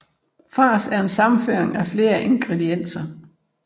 Fars er en sammenrøring af flere ingredienser